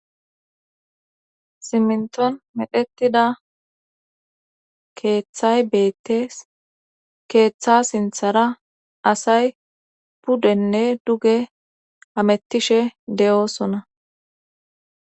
Simminton medhetida keeththay beettes keeththa sinthara asay puddenne duge amettishe de'oosona